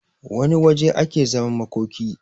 wane waje ake zaman makoki